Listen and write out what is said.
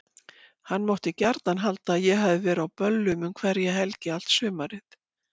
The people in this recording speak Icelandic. Hann mátti gjarnan halda að ég hefði verið á böllum um hverja helgi allt sumarið.